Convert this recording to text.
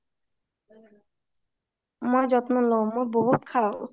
মই যত্ন লও মই বহুত খাওঁ